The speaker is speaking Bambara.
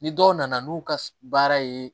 Ni dɔw nana n'u ka baara ye